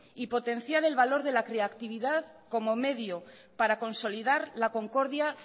y potenciar el valor de la creatividad como medio para consolidad la concordia